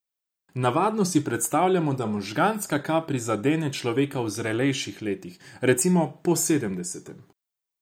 Navadno si predstavljamo, da možganska kap prizadene človeka v zrelejših letih, recimo po sedemdesetem.